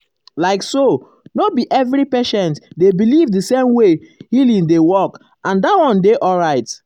like so no be every patient um dey believe the same way healing dey work and that one dey alright. um